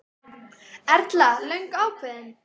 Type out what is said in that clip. Erla: Löngu ákveðinn?